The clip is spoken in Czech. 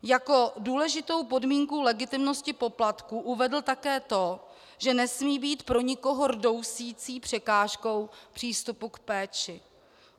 Jako důležitou podmínku legitimnosti poplatků uvedl také to, že nesmí být pro nikoho rdousící překážkou přístupu k péči.